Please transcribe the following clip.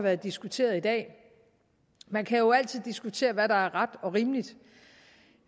været diskuteret i dag man kan jo altid diskutere hvad der er ret og rimeligt